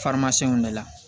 de la